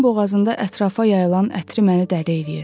uzun boğazında ətrafa yayılan ətri məni dəli eləyir.